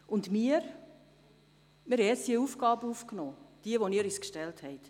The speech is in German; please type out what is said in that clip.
Jetzt haben wir die Aufgabe übernommen, die Sie uns gestellt haben.